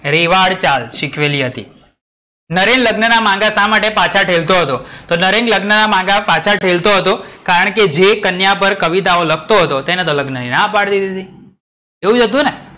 રેવાળ ચાલ શીખવેલી હતી. નરેન લગ્ન ના મંગા શા માટે પાછા ઠેલતો હતો? તો નરેન લગ્ન ના મંગા પાછા ઠેલતો હતો કારણકે જે કન્યા પર કવિતાઓ લખતો હતો તેને તો લગ્ન ની ના પડી દીધી હતી. જોયું હતું ને?